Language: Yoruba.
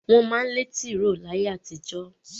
Wọ́n má ń lẹ́ tìró láyé àtijó.